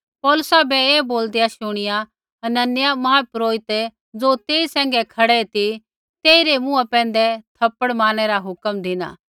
पौलुसा बै ऐ बोलदेआ शुणिया हनन्याह महापुरोहित ज़ो तेई सैंघै खड़ै ती तेइरै मुँहा पैंधै थप्पड़ मारनै रा हुक्म धिना